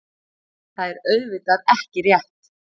Það er auðvitað ekki rétt.